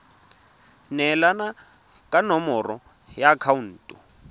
neelana ka nomoro ya akhaonto